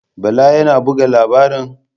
Bala yana buga labaran?